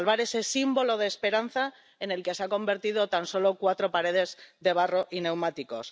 Para salvar ese símbolo de esperanza en el que se han convertido tan solo cuatro paredes de barro y neumáticos.